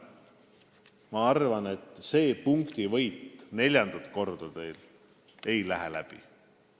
Ma arvan, et neljandat korda ei lähe teil see punktivõit läbi.